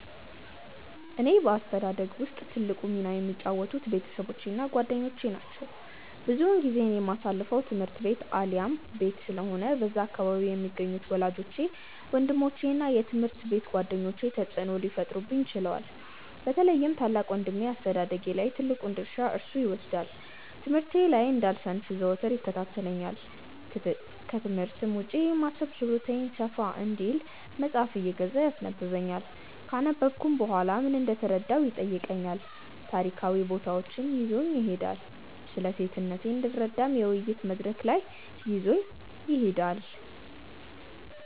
በእኔ አስተዳደግ ውስጥ ትልቁን ሚና የተጫወቱት ቤተሰቦቼ እና ጓደኞቼ ናቸው። ብዙ ጊዜዬን የማሳልፈው ትምህርት ቤት አሊያም ቤት ስለሆነ በዛ አካባቢ የሚገኙት ወላጆቼ፤ ወንድሞቼ እና የትምሀርት ቤት ጓደኞቼ ተጽእኖ ሊፈጥሩብኝ ችለዋል። በተለይም ታላቅ ወንድሜ አስተዳደጌ ላይ ትልቁን ድርሻ እርሱ ይወስዳል። ትምህርቴ ላይ እንዳልሰንፍ ዘወትር ይከታተለኛል፤ ክትምህርት ውጪ የማሰብ ችሎታዬ ሰፋ እንዲል መጽሃፍ እየገዛ ያስነበብኛል፤ ካነበብኩም በኋላ ምን እንደተረዳሁ ይጠይቀኛል፤ ታሪካዊ ቦታዎች ይዞኝ ይሄዳል፤ ስለሴትነቴ እንድረዳ የውይይት መድረክ ላይ ይዞኝ ይሄዳል።